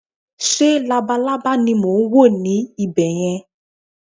ṣe labalábá ni mo n wo ni ibè yẹn